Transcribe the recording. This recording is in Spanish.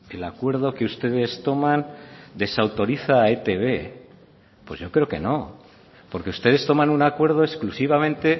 el acuerdo que ustedes toman desautoriza a etb pues yo creo que no porque ustedes toman un acuerdo exclusivamente